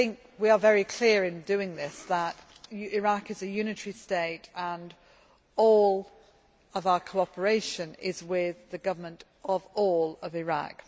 We are very clear in doing this that Iraq is a unitary state and that all our cooperation is with the government of all of Iraq.